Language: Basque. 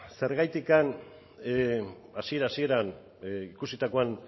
zergaitik hasiera hasieran ikusitakoan